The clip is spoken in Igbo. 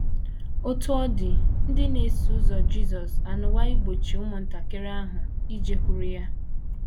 * Otú ọ dị, ndị na - eso ụzọ Jisọs anwaa igbochi ụmụntakịrị ahụ ijekwuru ya.